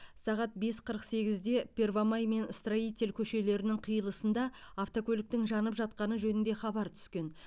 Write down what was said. сағат бес қырық сегізде первомай мен строитель көшелерінің қиылысында автокөліктің жанып жатқаны жөнінде хабар түскен